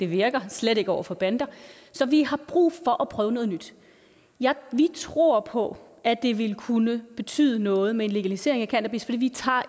virker slet ikke over for bander så vi har brug for at prøve noget nyt vi tror på at det ville kunne betyde noget med en legalisering af cannabis fordi vi tager